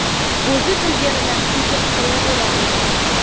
O‘zi bilganidan kesib qo‘yaveradi.